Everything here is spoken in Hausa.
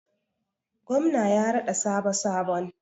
Gwamna ya raɗa sabo sabon.